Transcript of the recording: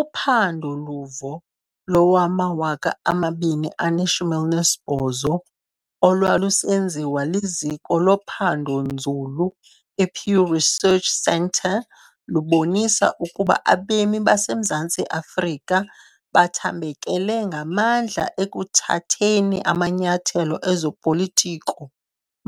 Uphando luvo lowama-2018 olwalusenziwa liziko lophando-nzulu i-Pew Research Centre lubonisa ukuba abemi baseMzantsi Afrika bathambekele ngamandla ekuthatheni amanyathelo ezopolitiko